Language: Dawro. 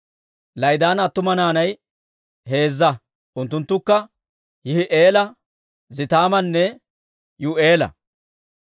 La'idaana attuma naanay heezza; unttunttukka Yihi'eela, Zetaamanne Yuu'eela.